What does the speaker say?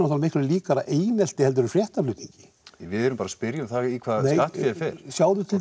miklu líkara einelti heldur en fréttaflutningi við erum bara að spyrja um það í hvað skattféið fer sjáðu til